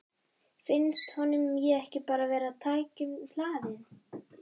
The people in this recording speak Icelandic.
Finnst honum ég ekki bara vera of tækjum hlaðin?